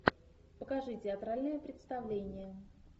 покажи театральное представление